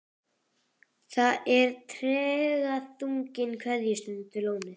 Það er tregaþrungin kveðjustund við lónið.